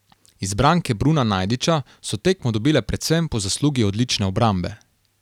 Izbranke Bruna Najdiča so tekmo dobile predvsem po zaslugi odlične obrambe.